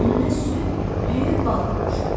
Önünə süd, düyü, bal qoymuşdular.